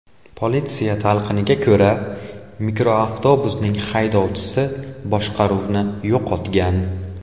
Politsiya talqiniga ko‘ra, mikroavtobusning haydovchisi boshqaruvni yo‘qotgan.